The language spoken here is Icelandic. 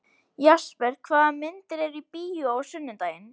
Jesper, hvaða myndir eru í bíó á sunnudaginn?